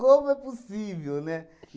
é possível, né?